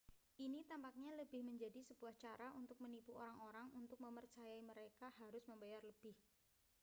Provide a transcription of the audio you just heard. ini tampaknya lebih menjadi sebuah cara untuk menipu orang-orang untuk memercayai mereka harus membayar lebih